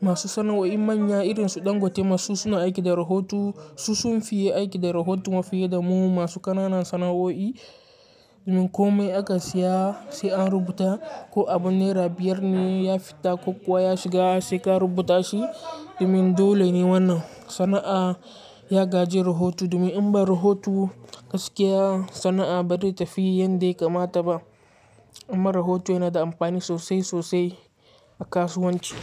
masu sana'o'i manya irin su ɗan gote masu suna aiki da rahoto su sun fiye aiki da rahoto mafiye da mu masu ƙananan sana'o'i. Domin komai aka siya sai an rubuta ko abun nera biyar ne ya fita ko kuwa ya shiga sai ka rubuta shi. Domin dole ne wannan sana'a ya gaji rahoto domin in ba rahoto gaskiya sana'a ba zai tafi yadda ya kamata ba. Amma rahoto yana da amfani sosai, sosai a kasuwanci.